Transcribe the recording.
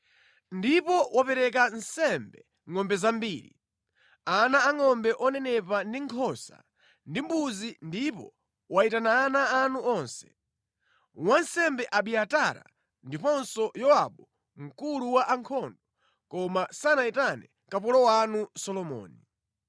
Ndipo wapereka nsembe ngʼombe zambiri, ana angʼombe onenepa ndi nkhosa ndi mbuzi ndipo wayitana ana anu onse, wansembe Abiatara ndiponso Yowabu mkulu wa ankhondo, koma sanayitane kapolo wanu Solomoni.